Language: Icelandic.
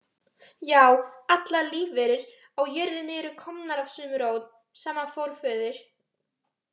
Já, allar lífverur á jörðinni eru komnar af sömu rót, sama forföður